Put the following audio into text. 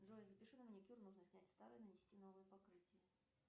джой запиши на маникюр нужно снять старое нанести новое покрытие